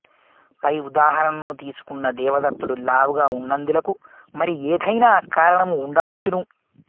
పై ఉదాహరణను తీసుకున్న దేవదత్తుడు లావుగా ఉన్నందులకు మరి ఏదైనా కారణము ఉండవచ్చును